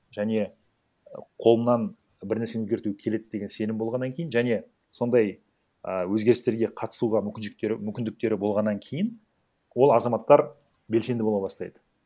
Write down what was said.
және қолымнан бір нәрсені өзгерту келеді деген сенім болғаннан кейін және сондай і өзгерістерге қатысуға мүмкіншіліктері мүмкіндіктері болғаннан кейін ол азаматтар белсенді бола бастайды